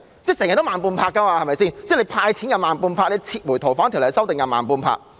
政府總是慢半拍，"派錢"慢半拍，撤回《逃犯條例》修訂又慢半拍。